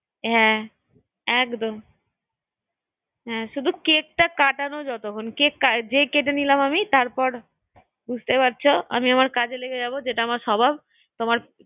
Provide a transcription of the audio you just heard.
আমি তো জানি হ্যাঁ তুই তো একদম আমার পিছনে লাগাবার চেষ্টাই থাকছিস হ্যাঁ শুধু কেকটা কাটানো যতক্ষণ, কেকটা যেই কেটে নিলাম আমি তারপর বুঝতেই পারছো আমি আমার কাজে লেগে যাবো যেটা আমার স্বভাব তোমার